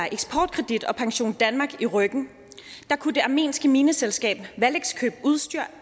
eksportkredit og pensiondanmark i ryggen kunne det armenske mineselskab valex købe udstyr